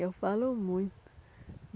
Eu falo muito.